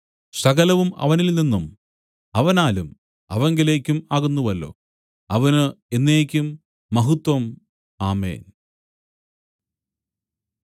സകലവും അവനിൽ നിന്നും അവനാലും അവങ്കലേക്കും ആകുന്നുവല്ലോ അവന് എന്നേക്കും മഹത്വം ആമേൻ